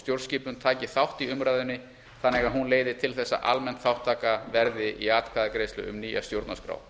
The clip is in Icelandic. stjórnskipun taki þátt í umræðunni þannig að hún leiði til þess að almenn þátttaka verði í atkvæðagreiðslu um nýja stjórnarskrá